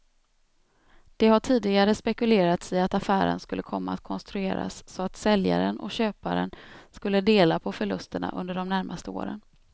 Det har tidigare spekulerats i att affären skulle komma att konstrueras så att säljaren och köparen skulle dela på förlusterna under de närmaste åren.